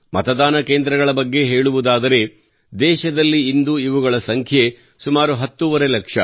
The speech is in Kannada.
ಮತದಾನ ಕೇಂದ್ರಗಳ ಬಗ್ಗೆ ಹೇಳುವುದಾದರೆ ದೇಶದಲ್ಲಿ ಇಂದು ಇವುಗಳ ಸಂಖ್ಯೆ ಸುಮಾರು ಹತ್ತೂವರೆ ಲಕ್ಷ